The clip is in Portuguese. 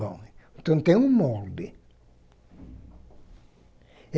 Bom, então tem um molde.